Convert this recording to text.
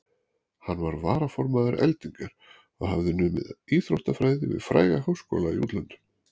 Hann var varaformaður Eldingar og hafði numið íþróttafræði við fræga háskóla í útlöndum.